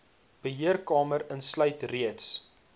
beheerkamer insluit reeds